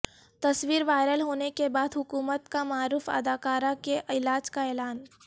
تصویروائرل ہونے کے بعد حکومت کامعروف اداکارہ کے علاج کااعلان